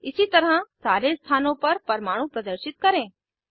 इसी तरह सारे स्थानों पर परमाणु प्रदर्शित करें